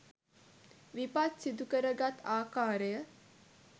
විපත් සිදුකරගත් ආකාරය